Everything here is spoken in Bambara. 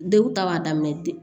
Denw ta b'a daminɛ ten